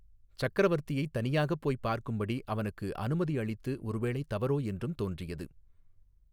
சக்கரவர்த்தியைத் தனியாகப் போய்ப் பார்க்கும்படி அவனுக்கு அனுமதி அளித்து ஒருவேளை தவறோ என்றும் தோன்றியது.